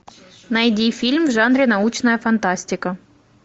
найди фильм в жанре научная фантастика